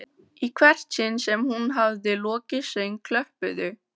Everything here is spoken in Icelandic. Í hvert sinn sem hún hafði lokið söng klöppuðu